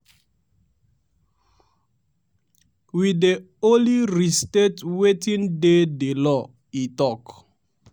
we dey only restate wetin dey di law" e tok.